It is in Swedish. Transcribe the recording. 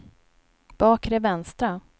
bakre vänstra